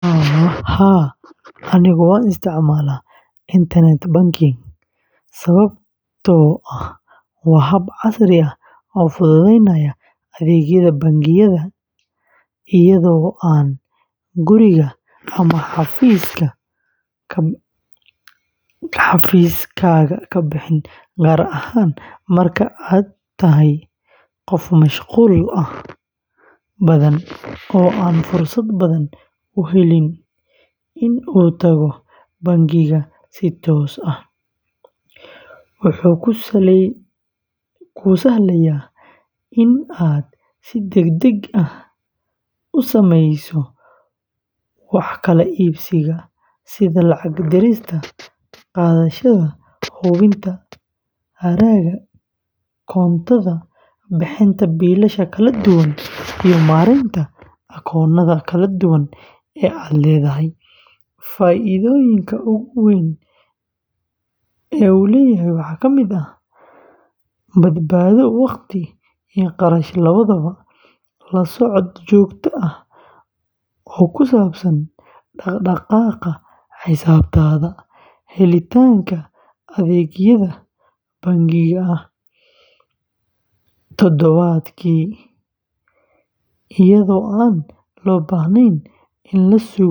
Haa, anigu waan isticmaalaa internet banking sababtoo ah waa hab casri ah oo fududeynaya adeegyada bangiyada iyadoo aan gurigaaga ama xafiiskaaga ka bixin, gaar ahaan marka aad tahay qof mashquul badan oo aan fursad badan u helin in uu tago bangiga si toos ah, wuxuu kuu sahlayaa in aad si degdeg ah u samayso wax kala iibsiga, sida lacag dirista, qaadashada, hubinta hadhaaga koontada, bixinta biilasha kala duwan, iyo maaraynta akoonnada kala duwan ee aad leedahay. Faa’iidooyinka ugu waaweyn ee waxaa ka mid ah: badbaado waqti iyo kharash labadaba, la socod joogto ah oo ku saabsan dhaqdhaqaaqa xisaabtaada, helitaanka adeegyada bangiga maalmood toddobaadkii, iyadoo aan loo baahnayn in la sugo saf dheer oo bangi ah.